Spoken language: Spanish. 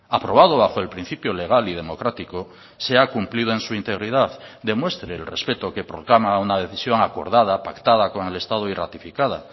aprobado bajo el principio legal y democrático sea cumplido en su integridad demuestre el respeto que proclama una decisión acordada pactada con el estado y ratificada